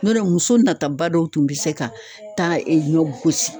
N'o tɛ muso nataba dɔw tun be se ka taa ɲɔ gosi